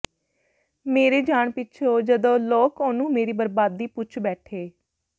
ਮੇਰੇ ਜਾਣ ਪਿੱਛੋਂ ਜਦ ਲੋਕ ਉਹਨੂੰ ਮੇਰੀ ਬਰਬਾਦੀ ਪੁੱਛ ਬੈਠੇ